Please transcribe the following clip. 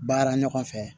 Baara ɲɔgɔn fɛ